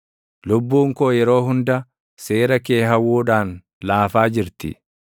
Lubbuun koo yeroo hunda seera kee hawwuudhaan, laafaa jirti.